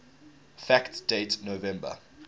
fact date november